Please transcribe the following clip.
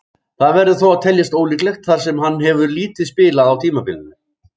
Það verður þó að teljast ólíklegt þar sem hann hefur lítið spilað á tímabilinu.